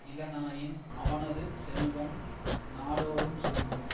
இலனாயின் அவனது செல்வம் நாடோறும் சுருங்கும்